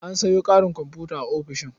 An sayo ƙarin komfuta a ofishin.